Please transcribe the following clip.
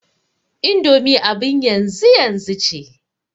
indomi abin yanzu yanzu ce